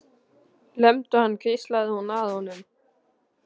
Lemdu hann hvíslaði hún að honum.